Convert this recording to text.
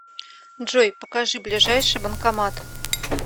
джой покажи ближайший банкомат